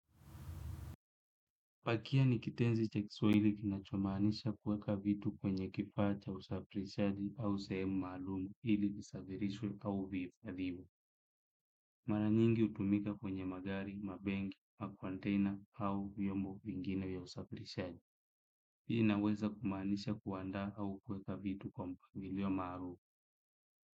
Pakia ni kitenzi cha kiswahili kinachomanisha kweka vitu kwenye kifaa cha usafirishaji au sehemu maalumu ili kisavirishwe au vifadhimu. Mara nyingi hutumika kwenye magari, mabengi, macontaina hau vyombo vingine ya usafirishaji. Ii inaweza kumaanisha kuandaa au kuweka vitu kwa mpabilio maalumu.